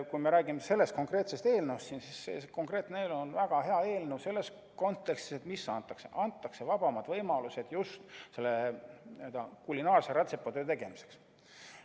Kui me räägime sellest konkreetsest eelnõust, siis see konkreetne eelnõu on väga hea eelnõu andmise kontekstis: antakse vabamad võimalused just kulinaarse rätsepatöö tegemiseks.